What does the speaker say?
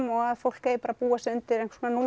og fólk eigi bara að búa sig undir